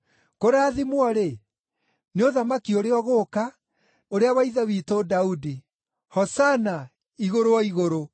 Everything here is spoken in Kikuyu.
“Kũrathimwo-rĩ, nĩ ũthamaki ũrĩa ũgũũka, ũrĩa wa ithe witũ Daudi!” “Hosana igũrũ o igũrũ!”